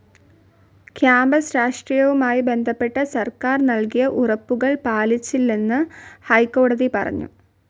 Campus രാഷ്ട്രീയവുമായി ബന്ധപ്പെട്ട് സർക്കാർ നൽകിയ ഉറപ്പുകൾ പാലിച്ചില്ലെന്നു ഹൈക്കോടതി പറഞ്ഞു.